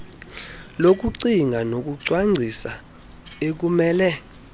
lokucinga nokucwangcisa ekumele